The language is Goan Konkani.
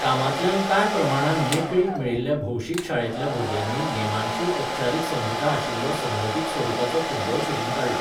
कामांतल्यान कांय प्रमाणांत मेकळीक मेळिल्ल्या भौशीक शाळेंतल्या भुरग्यांनी नेमांची औपचारीक संहिता आशिल्लो संघटीत स्वरुपाचो फुटबॉल सोदून काडलो.